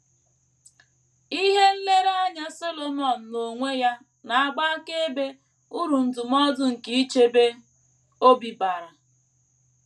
Ihe nlereanya Solomọn n’onwe ya na - agba akaebe uru ndụmọdụ nke ichebe obi bara.